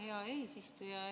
Hea eesistuja!